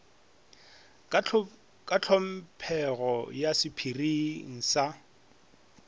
ka tlhomphego ya sephiri sa